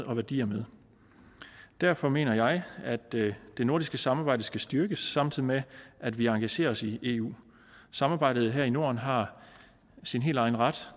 og værdier med derfor mener jeg at det nordiske samarbejde skal styrkes samtidig med at vi engagerer os i eu samarbejdet her i norden har sin helt egen ret